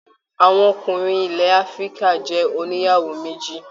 Àwọn ọkùnrin ilẹ áfíríkà jẹ ònìyàwó méjì.